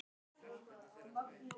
En Lena sér það ekki, stagast á fortíð.